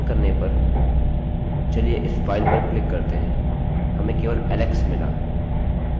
इसे संचालन करने पर चलिए इस फाइल पर क्लिक करते हैं हमें केवल एक alex मिला